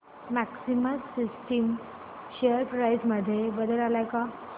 maxima systems share price मध्ये बदल आलाय का